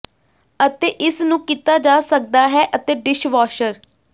ਅਤੇ ਇਸ ਨੂੰ ਕੀਤਾ ਜਾ ਸਕਦਾ ਹੈ ਅਤੇ ਡਿਸ਼ਵਾਸ਼ਰ